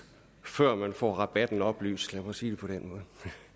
før man får rabatten oplyst lad mig sige det på